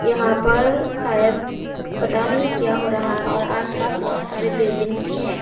यहां पर शायद पता नहीं क्या हो रहा है और आसपास बहुत सारे बिल्डिंग्स भी है।